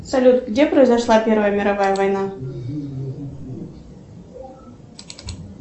салют где произошла первая мировая война